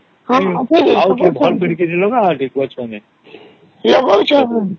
ହଁ ଅଛି ତ